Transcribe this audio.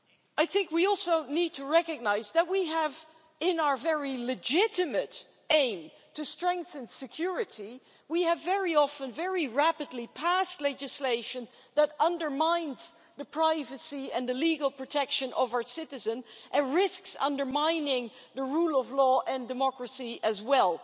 I think we also need to recognise that, in our very legitimate aim to strengthen security, we have very often very rapidly passed legislation that undermines the privacy and the legal protection of our citizens, and risks undermining the rule of law and democracy as well.